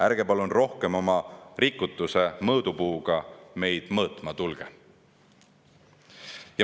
Ärge palun rohkem oma rikutuse mõõdupuuga meid mõõtma tulge.